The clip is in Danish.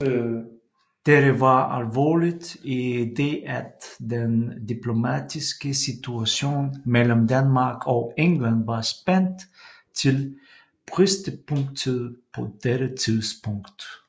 Dette var alvorligt i det at den diplomatiske situation mellem Danmark og England var spændt til bristepunktet på dette tidspunkt